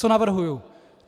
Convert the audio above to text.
Co navrhuji?